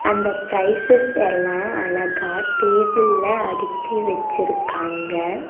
அந்த ப்ரைசஸ் எல்லா அழகா டேபிள்ல அடுக்கி வெச்சிருக்காங்க.